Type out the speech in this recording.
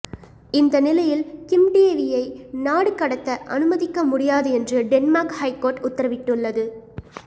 இந்த நிலையில் கிம் டேவியை நாடு கடத்த அனுமதிக்க முடியாது என்று டென்மார்க் ஹைகோர்ட் உத்தரவிட்டுள்ளது